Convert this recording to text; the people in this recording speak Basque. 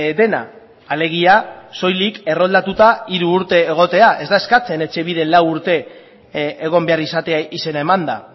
dena alegia soilik erroldatuta hiru urte egotea ez da eskatzen etxebiden lau urte egon behar izatea izena emanda